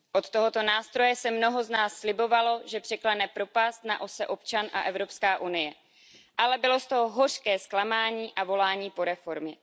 Od tohoto nástroje si mnoho z nás slibovalo, že překlene propast na ose občan a Evropská unie, ale bylo z toho hořké zklamání a volání po reformě.